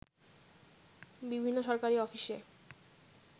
বিভিন্ন সরকারি অফিসে